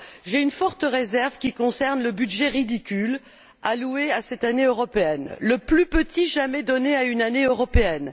j'ai une forte réserve à émettre qui concerne le budget ridicule alloué à cette Année européenne, le plus petit jamais donné à une Année européenne.